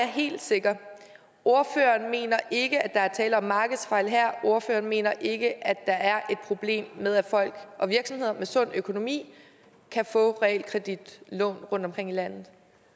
helt sikker ordføreren mener ikke at der er tale om markedsfejl her ordføreren mener ikke at der er et problem med at folk og virksomheder med sund økonomi kan få realkreditlån rundtomkring i landet